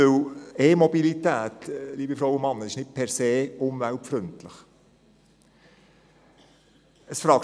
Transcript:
Wir haben lange diskutiert, weil, liebe Frauen und Männer, E-Mobilität nicht per se umweltfreundlich ist.